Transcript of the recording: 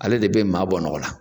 Ale de bɛ maa bɔ nɔgɔ la.